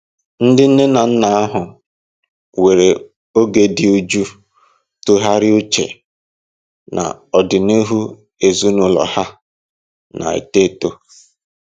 Ndị nne na nna ahụ were oge dị jụụ tụgharịa uche na ọdịnihu ezinụlọ ha na-eto eto.